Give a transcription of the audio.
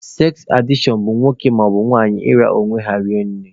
Seks adishọn bụ nwoke maọbụ nwanyị ịra onwe ha rinne.